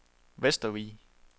Vestervig